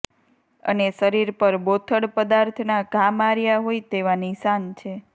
અને શરીર પર બોથડ પદાર્થ ના ઘા માર્યા હોય તેવા નિશાન છે